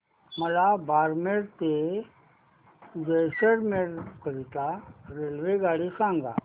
मला बारमेर ते जैसलमेर करीता रेल्वेगाडी सांगा